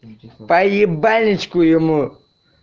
по ебальничку ему